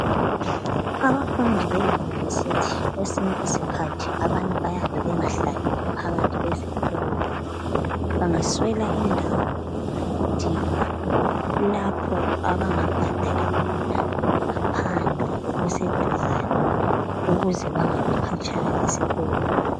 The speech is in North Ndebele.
Abafundi be University kwesinye isikhathi abanye bayabe bengahlaleli phakathi kwesikolo bangaswela indawo bayadinga lapho abangabhadala khona ngaphandle okuseduzane ukuze bangabi khatshana lesikolo.